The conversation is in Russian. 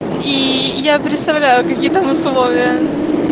и я представляю какие там условия